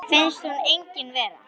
Finnst hún engin vera.